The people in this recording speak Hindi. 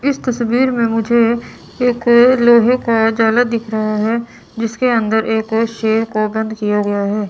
इस तस्वीर में मुझे एको लोहे का जाला दिख रहा है जिसके अंदर एको शेर को बंद किया गया है।